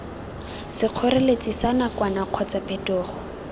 sekgoreletsi sa nakwana kgotsa phetogo